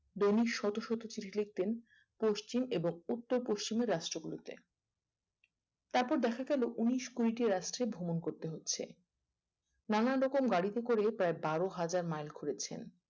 দৈনিক শত শত চিঠি লিখতেন পশ্চিম এবং উত্তর পশ্চিমের রাষ্ট্রগুলিতে তারপর দেখা গেলো উনিশ কুড়িটি রাষ্ট্রে ভ্রমণ করতে হচ্ছে নানারকম গাড়িতে করে পর্যায়ে বারো হাজার মাইল ঘুরেছেন